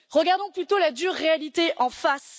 Regardons plutôt la dure réalité en face.